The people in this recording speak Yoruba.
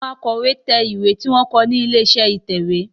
Àwọn Àkò ìwé tẹ̀ ìwé tí wón kọ ní ilé-iṣẹ́ ìtẹ̀wé.